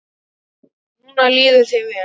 Núna líður þér vel.